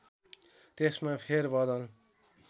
त्यसमा फेर बदल